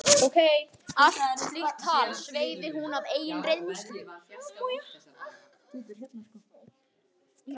Allt slíkt tal sveigði hún að eigin reynslu.